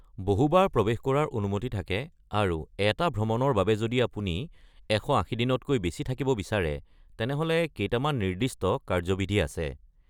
বহু বাৰ প্ৰৱেশ কৰাৰ অনুমতি থাকে আৰু এটা ভ্ৰমণৰ বাবে যদি আপুনি ১৮০ দিনতকৈ বেছি থাকিব বিচাৰে তেনেহ’লে কেইটামান নিৰ্দিষ্ট কাৰ্য্যবিধি আছে।